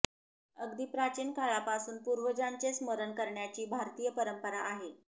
अगदी प्राचीन काळापासून पूर्वजांचे स्मरण करण्याची भारतीय परंपरा आहे